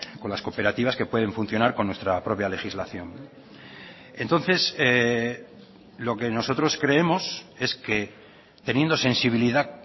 con las cooperativas que pueden funcionar con nuestra propia legislación entonces lo que nosotros creemos es que teniendo sensibilidad